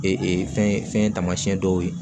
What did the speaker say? Ee fɛn tamasiɲɛ dɔw ye